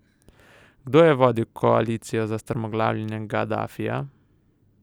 Kdo je vodil koalicijo za strmoglavljenje Gadafija?